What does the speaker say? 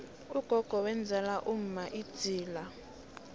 ugogo wenzela umma idzila